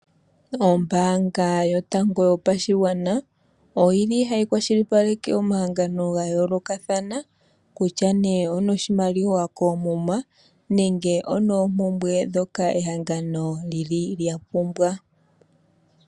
Ombaaanga yotango yopashigwana oyili hayi kwashipaleke omahangano ga yoolokathana kutya ne oyuna oshimaliwa koomuma nenge onoompumbwe dhoka ehangano li li lyapumbwa.